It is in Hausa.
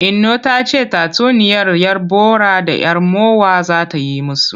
Inno ta ce tatsuniyar 'yar bora da 'yar mowa za ta yi musu.